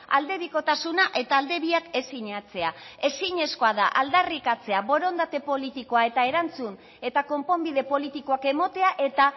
aldebikotasuna eta alde biak ez sinatzea ezinezkoa da aldarrikatzea borondate politikoa eta erantzun eta konponbide politikoak ematea eta